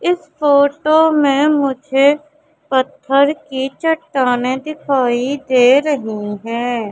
इस फोटो में मुझे पत्थर की चट्टानें दिखाई दे रही है।